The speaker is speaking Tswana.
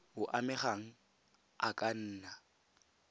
o amegang a ka nna